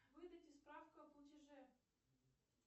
выдайте справку о платеже